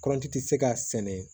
Kɔrɔnti ti se ka sɛnɛ